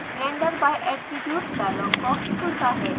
render by attribute dialog box खुलता है